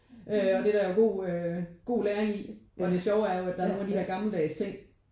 Øh og det er der jo god øh god læring i og det sjove er jo at der er nogen af de her gammeldags ting